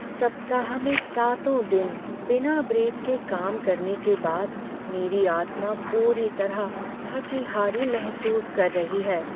सप्ताह में सातों दिन बिना ब्रेक के काम करने के बाद मेरी आत्मा पूरी तरह थकी हारी महसूस कर रही है।